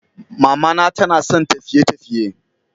Mamana tanasan tafiye_tafiye.